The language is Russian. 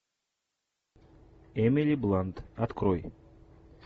эмили блант открой